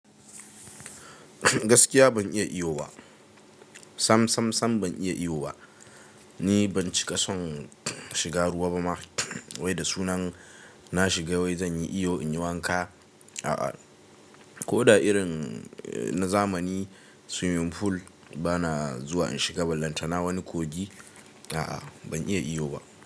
Gaskiya ban iya iyo ba, sam sam ban iya iyo ba. Ni ban cika son shiga ruwa ba ma, wai da sunan na shiga wai zan yi iyo in yi wanka a'a. Ko da irin na zamani swimming pool bana zuwa in shiga, bal lantana wani kogi a'a ban iya iyo ba.